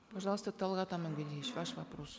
пожалуйста талғат амангельдиевич ваш вопрос